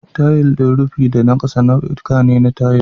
Tayil din rufi da na ƙasa nau'uka ne na tayil.